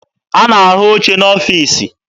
A na-ahụ oche n'ọfiisi.